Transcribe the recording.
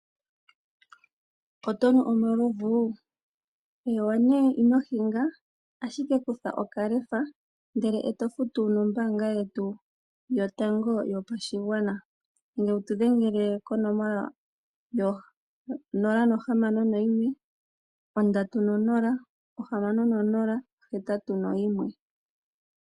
Oto nu omalovu? Eewa, nduno ino hinga, ashike kutha okaLEFA ndele to futu nombaanga yetu yotango yopashigwana nenge wu tu dhengele konomola yo 061 306081.